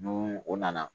Nu o nana